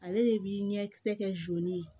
Ale de bi ɲɛkisɛ kɛ